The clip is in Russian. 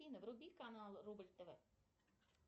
афина вруби канал рубль тв